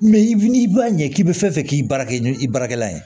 n'i b'a ɲɛ k'i bɛ fɛn fɛn k'i bara ɲɔ i baarakɛla ye